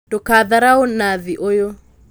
Ndũkatharaũ Nathi ũyũ